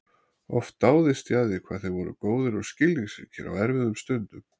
Oft dáðist ég að því hvað þeir voru góðir og skilningsríkir á erfiðum stundum.